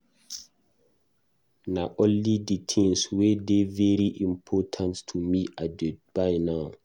Na only di tins wey dey very important to me I dey buy now.